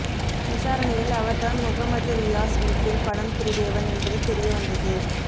விசாரணையில் அவர் தான் முகமதுரியாஸ் வீட்டில் பணம் திருடியவன் என்பது தெரியவந்தது